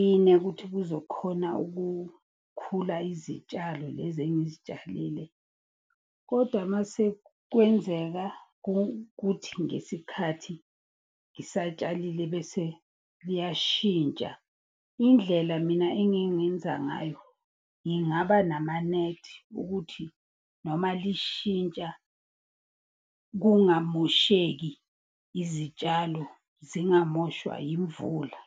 Ine kuthi kuzokhona ukukhula izitshalo lezi engizitshalile. Koda masekwenzeka kuthi ngesikhathi ngisatshalile bese liyashintsha. Indlela mina engingenza ngayo ngingaba namanethi, ukuthi noma lishintsha kungamosheki izitshalo, zingamoshwa yimvula.